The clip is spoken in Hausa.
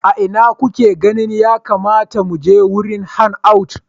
A ina kake ganin ya kamata mu je wurin hangout?